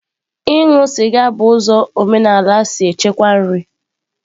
Ịṅụ sịga bụ ụzọ omenala si echekwa nri.